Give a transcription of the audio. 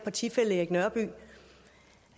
at sige